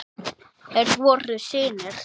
Þeir voru synir